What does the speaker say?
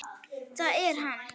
Það er hann.